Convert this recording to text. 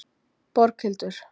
Borghildur